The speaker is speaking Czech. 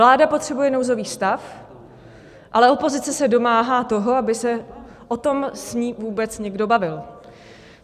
Vláda potřebuje nouzový stav, ale opozice se domáhá toho, aby se o tom s ní vůbec někdo bavil.